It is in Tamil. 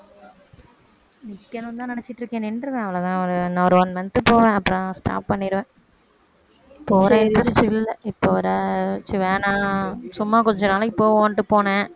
நிக்கணும்னு தான் நினைச்சிட்டு இருக்கேன் நின்றுவேன் அவ்வளவுதான் ஒரு இன்னும் ஒரு one month போவேன் அப்புறம் stop பண்ணிருவேன் போற interest இல்ல இப்ப வரை சரி வேணாம் சும்மா கொஞ்ச நாளைக்கு போவோம்ட்டு போனேன்